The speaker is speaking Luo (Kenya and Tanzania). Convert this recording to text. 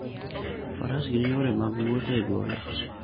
Faras gin yore mag wuoth e gode.